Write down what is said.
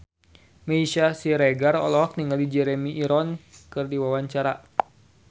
Meisya Siregar olohok ningali Jeremy Irons keur diwawancara